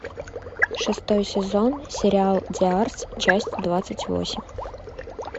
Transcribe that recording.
шестой сезон сериал диарс часть двадцать восемь